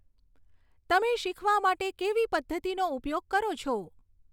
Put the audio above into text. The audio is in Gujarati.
તમે શીખવા માટે કેવી પધ્ધતિનો ઉપયોગ કરો છો